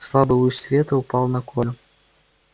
слабый луч света упал на колю